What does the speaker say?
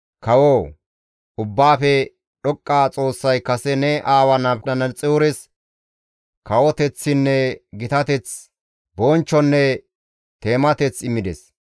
«Kawoo! Ubbaafe Dhoqqa Xoossay kase ne aawa Nabukadanaxoores kawoteththinne gitateth, bonchchonne teemateth immides.